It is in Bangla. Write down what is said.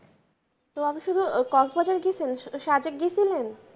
তো আপনি শুধু গেছিলেন?